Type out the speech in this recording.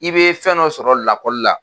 I bɛ fɛn dɔ sɔrɔ lakɔli la.